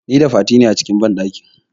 Nida Fati ne a cikin banɗakin.